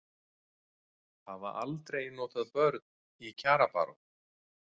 Hafa aldrei notað börn í kjarabaráttu